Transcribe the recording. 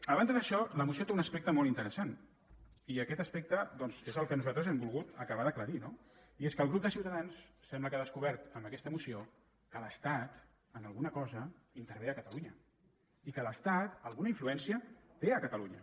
a banda d’això la moció té un aspecte molt interessant i aquest aspecte doncs és el que nosaltres hem volgut acabar d’aclarir no i és que el grup de ciutadans sembla que ha descobert amb aquesta moció que l’estat en alguna cosa intervé a catalunya i que l’estat alguna influència té a catalunya